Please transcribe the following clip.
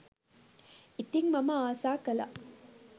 ඉතිං මම ආස කළා